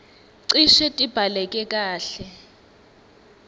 cishe tibhaleke kahle